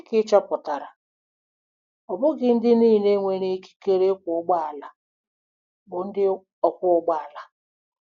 Dị ka ị chọpụtara, ọ bụghị ndị niile nwere ikike ịkwọ ụgbọala bụ ndị ọkwọ ụgbọ ala.